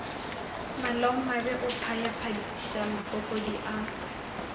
malaomabe o phayaphaiša mafokodi a